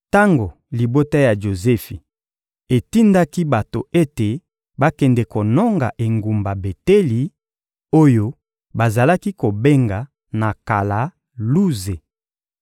Tango libota ya Jozefi etindaki bato ete bakende kononga engumba Beteli oyo bazalaki kobenga na kala Luze,